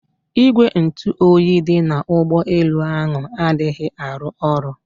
Ìgwè ntụ oyi dị na ụgbọ elu ahụ adịghị arụ oru